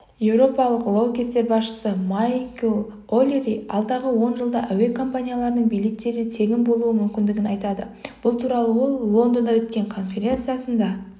еуропалық лоукостер басшысы майкл олири алдағы он жылда әуе компанияларының билеттері тегін болуы мүмкіндігін айтады бұл туралы ол лондонда өткен конференциясында